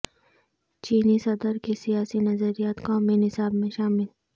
چینی صدر کے سیاسی نظریات قومی نصاب میں شامل